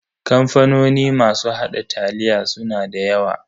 Kamfanoni masu haɗa taliya suna da yawa.